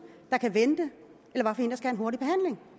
der kan vente